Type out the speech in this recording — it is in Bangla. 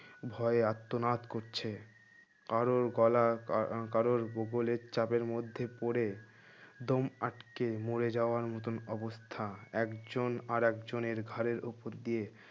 ভয়ে আর্তনাদ করছে কারুর গলা আহ আ কারোর বগলের চাপের মধ্যে পড়ে দম আটকে মরে যাওয়ার অবস্থা একজন আরেক জনের ঘাড়ের উপর দিয়ে